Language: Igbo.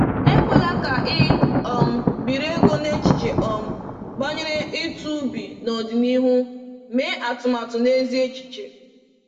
Ekwela ka i um biri ego n’echiche um banyere ụtụ ubi n’ọdịnihu; mee atụmatụ na ezi echiche.